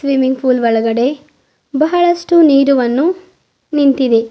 Swimming pool ಒಳಗಡೆ ಬಹಳಷ್ಟು ನೀರುವನ್ನು ನಿಂತಿದೆ.